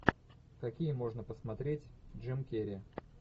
какие можно посмотреть джим керри